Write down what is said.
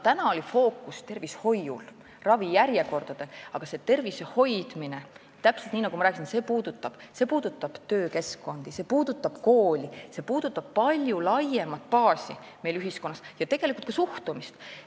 Täna oli fookus tervishoiul, ravijärjekordadel, aga see tervise hoidmine, täpselt nii nagu ma rääkisin, puudutab töökeskkonda, kooli, see puudutab palju laiemat baasi meil ühiskonnas, tegelikult ka suhtumist.